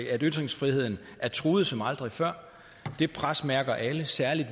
at ytringsfriheden er truet som aldrig før det pres mærker alle særlig